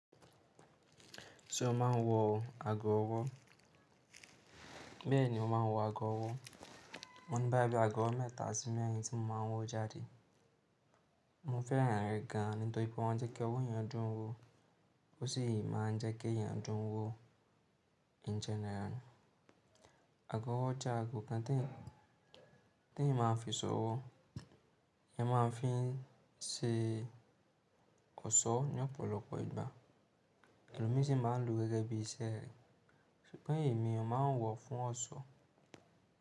Ṣé o máa ń wọ ago ọwọ́? Bẹ́ẹ̀ni, mo máa ń wọ ago ọwọ́. Mo ní báyìí bí i ago ọwọ́ mẹ́ta sí mẹ́rin tí mo máa ń wọ jáde. Mo fẹ́ràn rẹ̀ gan án, nítorí pé wọ́n jẹ́ kí ọwọ́ eyan dùn ún wọ, ó sì máa ń jẹ́ kí eyan dùn ún wọ in general. Ago ọwọ́ jẹ́ ago kan tí eyan máa ń fi sọ ọwọ́, eyan máa ń fi ń se ọ̀ṣọ́ ní ọ̀pọ̀lọpọ̀ ìgbà. Ẹlòmí sì máa ń lò gẹ́gẹ́ bí iṣẹ́ rẹ̀, ṣùgbọ́n èmi, mo máa ń wọ̀ fún ọ̀ṣọ́.